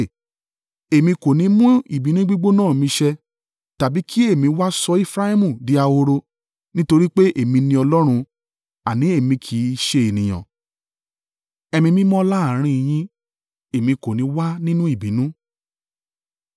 Èmi kò ni mú ìbínú gbígbóná mi ṣẹ, tàbí kí èmi wá sọ Efraimu di ahoro. Nítorí pé èmi ni Ọlọ́run, àní, èmi kì í ṣe ènìyàn. Ẹni mímọ́ láàrín yín, Èmi kò ní í wá nínú ìbínú.